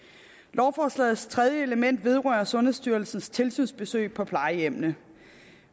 lovforslagets tredje element vedrører sundhedsstyrelsens tilsynsbesøg på plejehjemmene